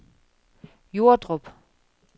Jordrup